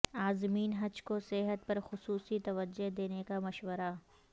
عازمین حج کو صحت پر خصوصی توجہ دینے کا مشورہ